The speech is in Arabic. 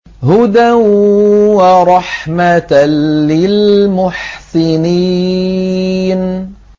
هُدًى وَرَحْمَةً لِّلْمُحْسِنِينَ